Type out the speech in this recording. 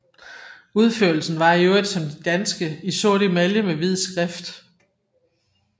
Udførelsen var i øvrigt som de danske i sort emalje med hvid skrift